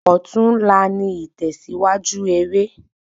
Òtún la ni ìtèsíwájú eré